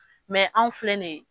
Mɛ anw filɛ nin ye